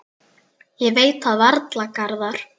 Ég veit það varla, Garðar.